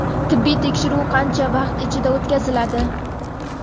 Tibbiy tekshiruv qancha vaqt ichida o‘tkaziladi?.